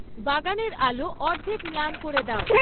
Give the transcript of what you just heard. বাগানের আলো অর্ধেক ম্লান করে দাও